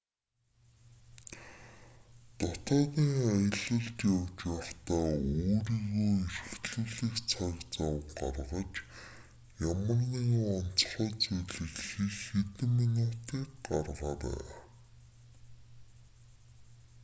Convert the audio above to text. дотоодын аялалд явж байхдаа өөрийгөө эрхлүүлэх цаг зав гаргаж ямар нэгэн онцгой зүйлийг хийх хэдэн минутыг гаргаарай